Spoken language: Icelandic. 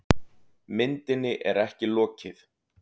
Myndinni er ekki lokið.